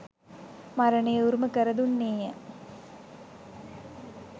මරණය උරුම කර දුන්නේ ය.